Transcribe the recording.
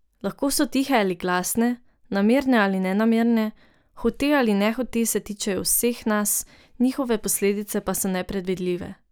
Lahko so tihe ali glasne, namerne ali nenamerne, hote ali nehote se tičejo vseh nas, njihove posledice pa so nepredvidljive.